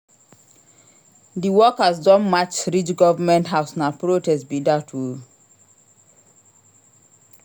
Di workers don march reach government house na protest be dat o.